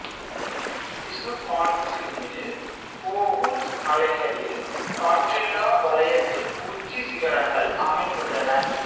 விசுகான்சினின் ஓகூச் மலைகளில் காற்றில்லா வலயத்தின் உச்சிச் சிகரங்கள் அமைந்துள்ளன